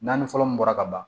Naani fɔlɔ mun bɔra ka ban